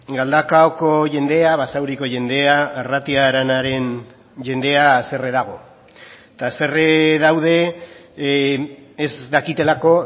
galdakaoko jendea basauriko jendea arratia aranaren jendea haserre dago eta haserre daude ez dakitelako